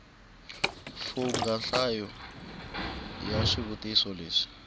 fungha nhlayo ya swivutiso leswi